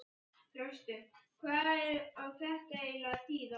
Þröstur, hvað á þetta eiginlega að þýða?!